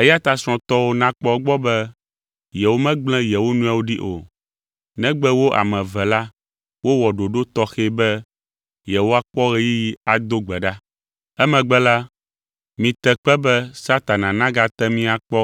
Eya ta srɔ̃tɔwo nakpɔ egbɔ be yewomegblẽ yewo nɔewo ɖi o, negbe wo ame eve la wowɔ ɖoɖo tɔxɛ be yewoakpɔ ɣeyiɣi ado gbe ɖa. Emegbe la, mite kpe be Satana nagate mi akpɔ